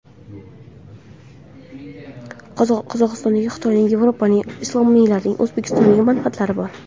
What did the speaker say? Qozog‘istonda Xitoyning, Yevropaning, islomiylarning, O‘zbekistonning manfaatlari bor.